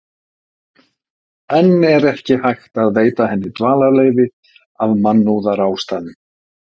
En er ekki hægt að veita henni dvalarleyfi af mannúðarástæðum?